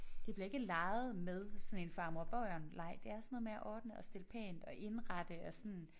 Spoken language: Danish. Det bliver ikke leget med sådan en far mor og børn leg. Det er sådan noget med at ordne og stille pænt og indrette og sådan